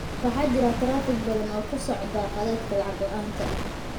Waxaa jira taraafig badan oo ku socda khadadka lacag-la'aanta ah.